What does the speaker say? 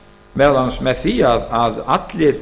meðal annars með því að allir